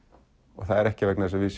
og það er ekki vegna þess að við